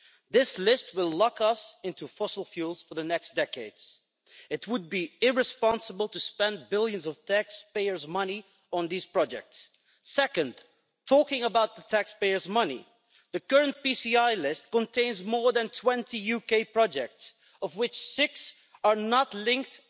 This list will lock us into fossil fuels for the next decades. It would be irresponsible to spend billions of taxpayers' money on these projects. Second, talking about the taxpayers' money, the current PCI list contains more than 20 UK projects, of which 6 are not linked